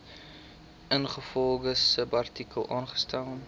ingevolge subartikel aangestel